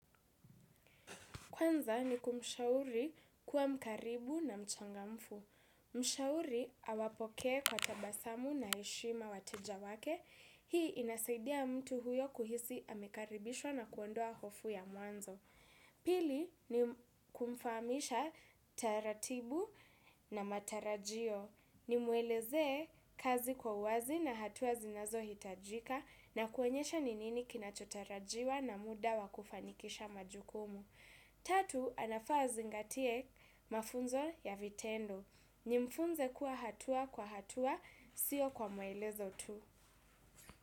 Kwanza ni kumshauri kuwa mkaribu na mchangamfu. Mshauri awapokee kwa tabasamu na heshima wateja wake. Hii inasaidia mtu huyo kuhisi amekaribishwa na kuondoa hofu ya mwanzo. Pili ni kumfamisha taratibu na matarajio. Nimuelezee kazi kwa wazi na hatua zinazohitajika na kuonyesha ni nini kinachotarajiwa na muda wa kufanikisha majukumu. Tatu, anafaa azingatie mafunzo ya vitendo. Nimfunze kuwa hatua kwa hatua, sio kwa mwelezo tu.